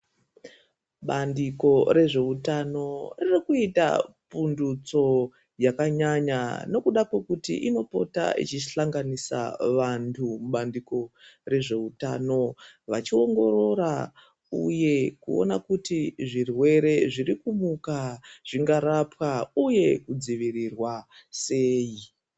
Bandiko rezveutano ririkuita pfundutso yakanyanya nokuda kwekuti inopota ichihlanganisa vanhu mubandiko rezveutano vachiongorora uye kuona kuti zvirwere zvirikumuka zvingarapwa uye kudzivirirwa sei.